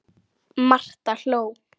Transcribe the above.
Marta hló.